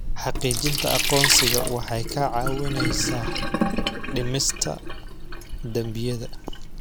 Xaqiijinta aqoonsiga waxay kaa caawinaysaa dhimista dembiyada.